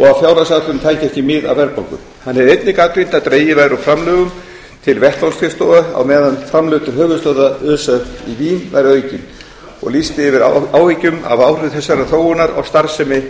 og að fjárhagsáætlunin tæki ekki mið af verðbólgu hann hefði einnig gagnrýnt að dregið væri úr framlögum til vettvangsskrifstofa á meðan framlög til höfuðstöðva öse í vín væru aukin og lýst yfir áhyggjum af áhrifum þessarar þróunar á starfsemi